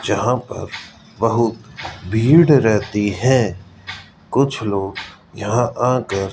यहां पर बहुत भीड़ रहती है कुछ लोग यहां आ कर --